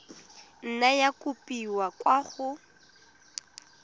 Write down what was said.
nna ya kopiwa kwa go